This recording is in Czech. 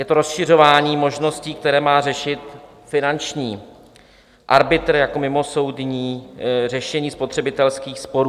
Je to rozšiřování možností, které má řešit finanční arbitr jako mimosoudní řešení spotřebitelských sporů.